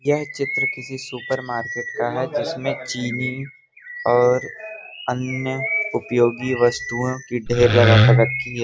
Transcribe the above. यह चित्र किसी सुपर मार्केट का है जिसमें चीनी और अन्य उपयोगी वस्तुओं की ढेर लगा के रखी है।